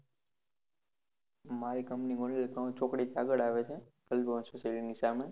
મારી company મુરલી પાન ચોકડી આગડ આવે છે, society ની સામે